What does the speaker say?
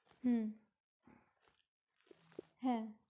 হম হ্যাঁ!